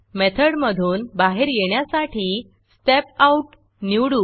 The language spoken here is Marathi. मेथडमधून बाहेर येण्यासाठी Step Outस्टेप आउट निवडू